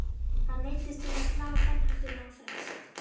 Hann neyddist til að slá framhaldinu á frest.